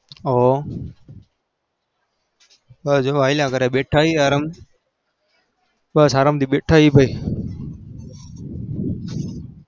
હોવ, બસ જો હાલ્યા કરે બેઠા છીએ આરામ, બસ આરમથી બેઠા છીએ ભાઈ.